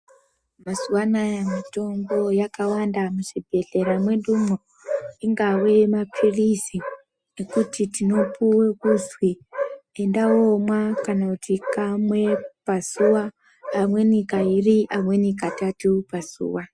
Mazuva anoaya mitombo yakawanda muzvibhedhlera mwedu mwo ingave mapilizi ekuti tinopiwa kuzwi enda unomwa kana kuti kamwe pazuva amweni kaviri amweni katatu pazuva.